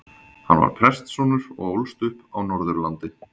Hann var prestssonur og ólst upp á Norðurlandi.